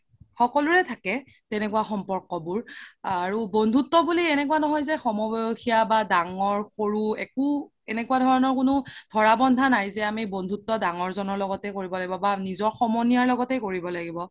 সকলোৰে থাকে তেনেকুৱা সম্পৰ্ক বোৰ আৰু বন্ধুত্ব বুলি এনেকুৱা ন্হয় যে সম বয়সীয়া বা দাঙৰ সৰু একো এনেকুৱা ধৰণৰ ধৰা বন্ধা নাই যে আমি বন্ধুত্ব দাঙৰ জ্নৰ লগতে কৰিব লাগিব বা নিজৰ সমনীয়াৰ লগতে কৰিব লাগিব